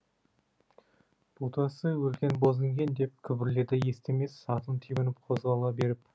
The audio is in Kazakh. ботасы өлген боз інген деп күбірледі естемес атын тебініп қозғала беріп